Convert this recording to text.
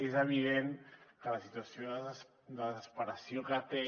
és evident que la situació de desesperació que té